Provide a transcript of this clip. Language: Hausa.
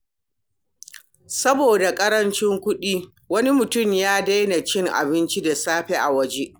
Saboda ƙarancin kuɗi, wani mutum ya daina cin abinci da safe a waje.